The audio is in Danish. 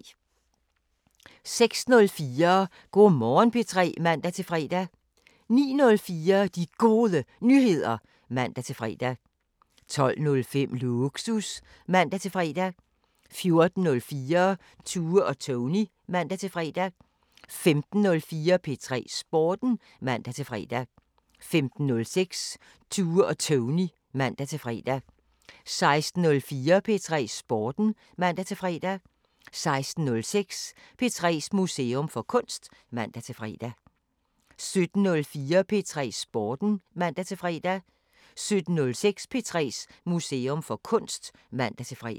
06:04: Go' Morgen P3 (man-fre) 09:04: De Gode Nyheder (man-fre) 12:05: Lågsus (man-fre) 14:04: Tue og Tony (man-fre) 15:04: P3 Sporten (man-fre) 15:06: Tue og Tony (man-fre) 16:04: P3 Sporten (man-fre) 16:06: P3's Museum for Kunst (man-fre) 17:04: P3 Sporten (man-fre) 17:06: P3's Museum for Kunst (man-fre)